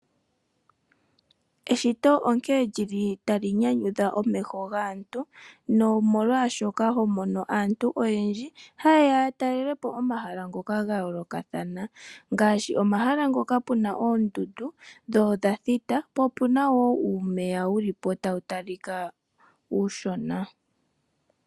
Eshito onkene li li tali nyanyudha omeho gaantu nomolwashoka ho mono aantu oyendji haye ya ya talele po omahala ngoka ga yoolokathana. Ngaashi omahala ngoka pu na oondundu dho odha thita, po opu na wo uumeya wu li po tawu talika uushona.